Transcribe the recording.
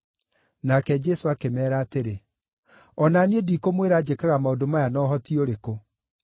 Nake Jesũ akĩmeera atĩrĩ, “O na niĩ ndikũmwĩra njĩkaga maũndũ maya na ũhoti ũrĩkũ.”